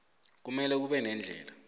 kumele kube neendlela